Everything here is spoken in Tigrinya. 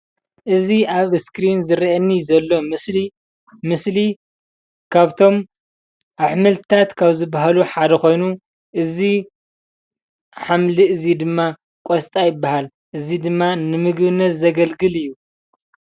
እዚ ኣብ እስክሪን ዝርእየኒ ዘሎ ምስሊ ካብቶም ኣሕምልታት ካብ ዝበሃሉ ሓደ ኮይኑ እዚ ሓምሊ እዚ ድማ ቆስጣ ይበሃል ።እዚ ድማ ን ምግብነት ዘገልግል እዩ።